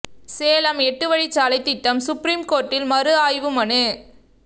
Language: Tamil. சேலம் எட்டு வழிச்சாலை திட்டம் சுப்ரீம் கோர்ட்டில் மறு ஆய்வு மனு